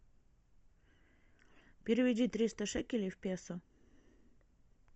переведи триста шекелей в песо